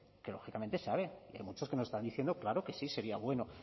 que lógicamente sabe hay muchos que nos están diciendo claro que sí sería bueno